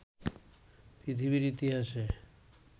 পৃথিবীর ইতিহাসে